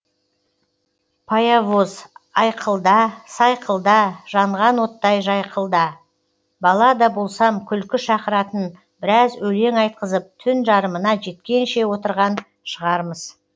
паявоз айқылда сайқылда жанған оттай жайқылда бала да болсам күлкі шақыратын біраз өлең айтқызып түн жарымына жеткенше отырған шығармыз